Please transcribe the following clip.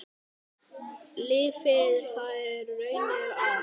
Lifði þær raunir af.